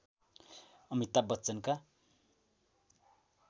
Amitabh बच्चनका